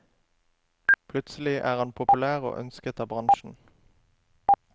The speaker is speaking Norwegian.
Plutselig er han populær og ønsket av bransjen.